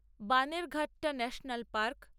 বানেরঘাটটা national park